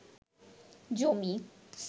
জমি